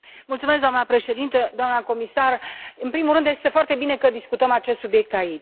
Doamnă președintă, doamnă comisar, în primul rând, este foarte bine că discutăm acest subiect aici.